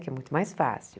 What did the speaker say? Que é muito mais fácil.